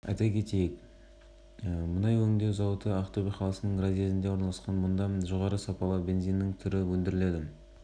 арнайы операция болғаны анықталды облыстық ішкі істер департаменті арнайы жасақ жұмылдырылған операция туралы қандай да